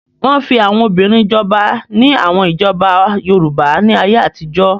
Wọ́n fi àwọn obìnrin jọba ní àwọn ìjọba Yorùbá ní ayé àtijọ́.